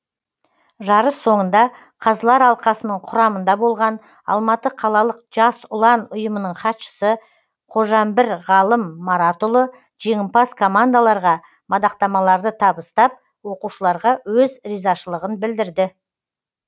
жарыс соңында қазылар алқасының құрамында болған алматы қалалық жас ұлан ұйымының хатшысы қожамбір ғалым маратұлы жеңімпаз командаларға мадақтамаларды табыстап оқушыларға өз ризашылығын білдірді